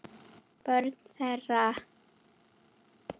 Börn þeirra